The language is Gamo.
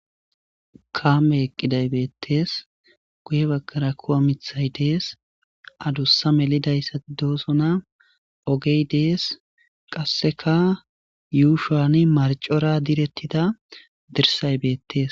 Kaame eqqiday beettees guye baggara kuwamithay dees adussa melidayssati doosona ogey dees qasseka yuu shoani marcora direttida dirsay beettees.